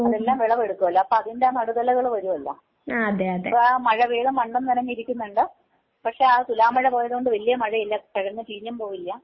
അതെല്ലാം വിളവെടുക്കൂലോ അപ്പൊ അതിന്റെ നടുതലകള് വരൂലോ. ഇപ്പ ആ മഴ പെയ്ത മണ്ണും നനഞ്ഞ് ഇരിക്കുന്നുണ്ട് പക്ഷെ ആ തുലാ മഴ പോയതുകൊണ്ട് വല്യ മഴയില്ല കിഴങ്ങ് ചീഞ്ഞും പോവില്ല.